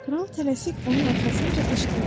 Kral tələsik onun arxasınca qışqırdı: